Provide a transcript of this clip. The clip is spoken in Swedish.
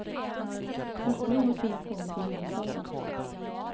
Först nu har turen kommit till huvudstaden.